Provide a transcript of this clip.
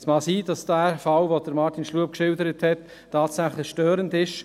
Es mag sein, dass der von Martin Schlup beschriebene Fall tatsächlich störend ist.